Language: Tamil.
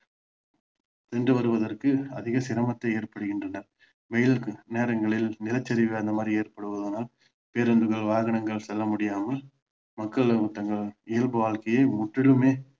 சென்று வருவதற்கு அதிக சிரமத்தை ஏற்படுகின்றன மேலும் சில நேரங்களில் நிலச்சரிவு அந்த மாதிரி ஏற்படுவதனால் பேருந்துகள் வாகனங்கள் செல்ல முடியாமல மக்கள் தங்கள் இயல்பு வாழ்க்கை முற்றிலுமே